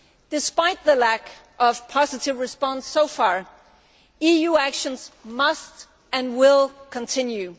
Despite the lack of a positive response so far, EU actions must and will continue.